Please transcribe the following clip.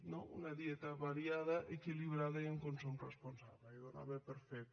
no una dieta variada equilibrada i un consum responsable i ho donava per fet